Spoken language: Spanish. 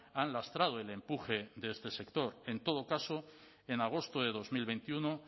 han lastrado el empuje de este sector en todo caso en agosto de dos mil veintiuno